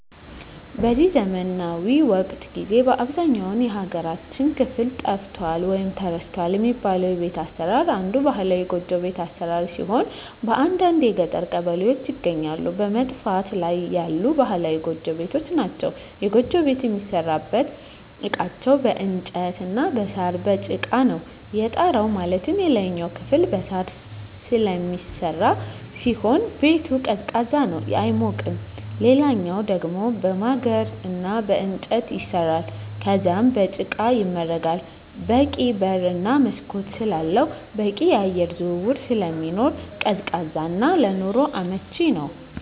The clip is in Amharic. በዚህ ዘመናዊ ወቅት ጊዜ በአብዛኛው የሀገራችን ክፍል ጠፍቷል ወይም ተረስቷል የሚባለው የቤት አሰራር አንዱ ባህላዊ ጎጆ ቤት አሰራር ሲሆን በአንዳንድ የገጠር ቀበሌዎች ይገኛሉ በመጥፋት ላይ ያሉ ባህላዊ ጎጆ ቤቶች ናቸዉ። የጎጆ ቤት የሚሠሩበት እቃዎች በእንጨት እና በሳር፣ በጭቃ ነው። የጣራው ማለትም የላይኛው ክፍል በሳር ስለሚሰራ ሲሆን ቤቱ ቀዝቃዛ ነው አይሞቅም ሌላኛው ደሞ በማገር እና በእንጨት ይሰራል ከዛም በጭቃ ይመረጋል በቂ በር እና መስኮት ስላለው በቂ የአየር ዝውውር ስለሚኖር ቀዝቃዛ እና ለኑሮ አመቺ ነው።